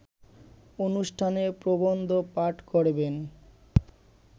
অনুষ্ঠানে প্রবন্ধ পাঠ করবেন